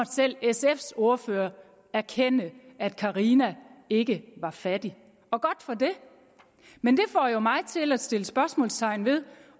selv sfs ordfører erkende at carina ikke var fattig og godt for det men det får jo mig til at sætte spørgsmålstegn ved